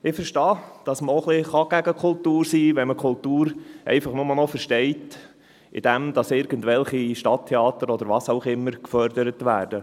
Ich verstehe, dass man auch etwas gegen Kultur sein kann, wenn man Kultur einfach nur noch als das versteht, dass irgendwelche Stadttheater oder was auch immer gefördert werden.